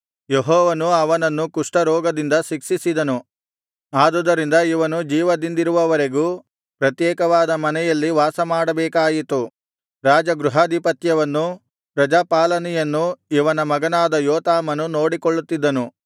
ಯೆಹೋವನು ಅವನನ್ನು ಕುಷ್ಠರೋಗದಿಂದ ಶಿಕ್ಷಿಸಿದನು ಆದುದರಿಂದ ಇವನು ಜೀವದಿಂದಿರುವವರೆಗೂ ಪ್ರತ್ಯೇಕವಾದ ಮನೆಯಲ್ಲಿ ವಾಸಮಾಡಬೇಕಾಯಿತು ರಾಜಗೃಹಾಧಿಪತ್ಯವನ್ನೂ ಪ್ರಜಾಪಾಲನೆಯನ್ನೂ ಇವನ ಮಗನಾದ ಯೋತಾಮನು ನೋಡಿಕೊಳ್ಳುತ್ತಿದ್ದನು